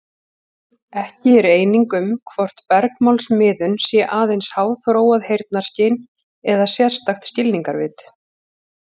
Ekki er eining um hvort bergmálsmiðun sé aðeins háþróað heyrnarskyn eða sérstakt skilningarvit.